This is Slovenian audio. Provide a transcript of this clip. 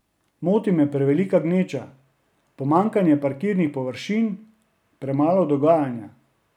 Moti me prevelika gneča, pomanjkanje parkirnih površin, premalo dogajanja ...